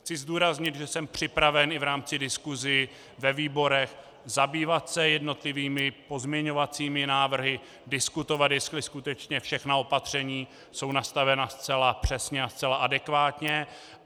Chci zdůraznit, že jsem připraven i v rámci diskusí ve výborech zabývat se jednotlivými pozměňovacími návrhy, diskutovat, jestli skutečně všechna opatření jsou nastavena zcela přesně a zcela adekvátně.